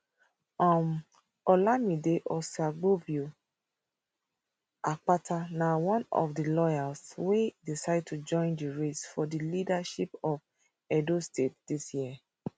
um olumide osaigbovo akpata na one of di lawyers wey decide to join di race for di leadership of edo state dis year